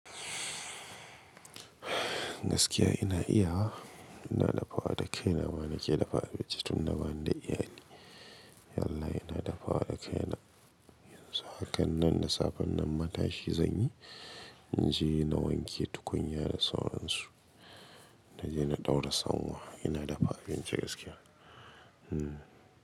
Gaskiya ina iya wa, ina dafawa da kaina mana ke dafa abincin na bani da iyali. Yallahi ina dafawa da kaina. Yanzu haka nan da safen nan matashi zanyi, na je na wanke tukunya da sauransu. Na je na ɗaura sanwa, ina dafa abinci gaskiya. Hmm.